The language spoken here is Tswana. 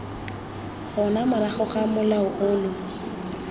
gona morago ga molao ono